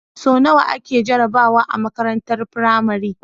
So nawa ake jarabawa a makarantar pramari